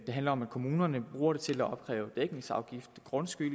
handler om at kommunerne bruger den til at opkræve dækningsafgift og grundskyld